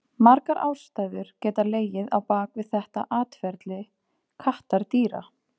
Margar ástæður geta legið á bak við þetta atferli kattardýra.